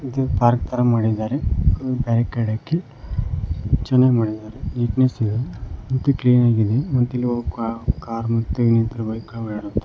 ಮತ್ತೆ ಪಾರ್ಕ್ ತರ ಮಾಡಿದ್ದಾರೆ ಒಂದ್ ಬ್ಯಾರ್ರಿಕೆಡ್ ಹಾಕಿ ಚೆನಾಗ್ ಮಾಡಿದಾರೆ ನೀಟ್ನೆಸ್ ಇದೆ ಮತ್ತು ಕ್ಲೀನಾಗಿದೆ ಮತ್ತು ಇಲ್ಲಿ ಕಾರ್